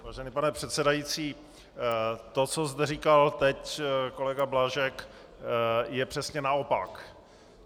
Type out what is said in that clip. Vážený pane předsedající, to, co zde říkal teď kolega Blažek, je přesně naopak.